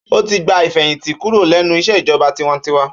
Ó ti gba ìfẹ̀hìtì kúrò lẹ́nu iṣẹ́ ìjọba tiwańtiwa.